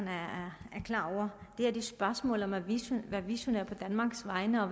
her er et spørgsmål om at være visionær på danmarks vegne og